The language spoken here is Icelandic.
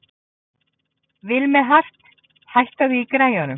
Vilmenhart, hækkaðu í græjunum.